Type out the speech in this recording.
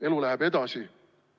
Elu läheb edasi.